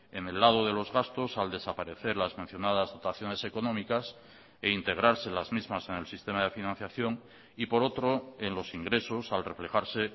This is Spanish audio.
en el lado de los gastos al desaparecer las mencionadas dotaciones económicas e integrarse las mismas en el sistema de financiación y por otro en los ingresos al reflejarse